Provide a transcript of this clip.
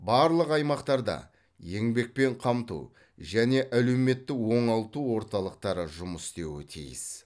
барлық аймақтарда еңбекпен қамту және әлеуметтік оңалту орталықтары жұмыс істеуі тиіс